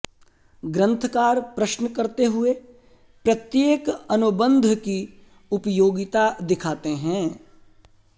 ग्रन्थकार प्रश्न करते हुए प्रत्येक अनुबन्ध की उपयोगिता दिखाते हैं